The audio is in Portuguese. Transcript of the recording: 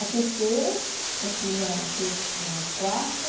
A terceira, eu fiz a ter não a quarta.